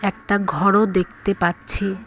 একটা ঘর ও দেখতে পাচ্ছি।